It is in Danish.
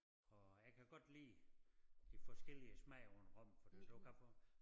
Og jeg kan godt lide de forskellige smage på en rom fordi du kan få